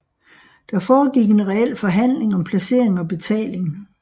Der foregik en reel forhandling om placering og betaling